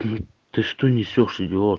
ты что несёшь идиот